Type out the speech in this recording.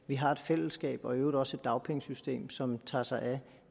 vi har et fællesskab og i øvrigt også et dagpengesystem som tager sig af